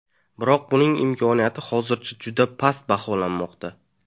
Biroq buning imkoniyati hozircha juda past baholanmoqda.